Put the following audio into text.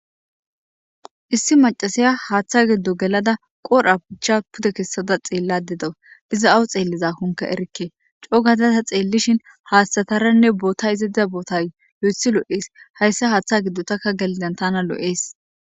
Issi macasiya haaththa geddo gelada qodha pucha pude kessada xeellade do iza awu xeelliza konke erikke coo gadata xeellishin haasthataranne bootta izadiza boota yo7ethi loo7ees hayssa haaththa geddo takka gelidan tana loo7ees.